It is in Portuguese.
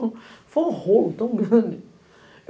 Foi um rolo tão grande.